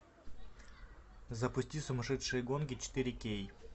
запусти сумасшедшие гонки четыре кей